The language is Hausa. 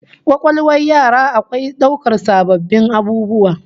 Kwakwalwar yara akwai daukar sabbin abubuwa